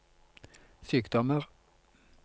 sykdommer